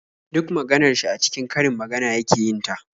Duk maganar shi a cikin karin magana yake yin ta.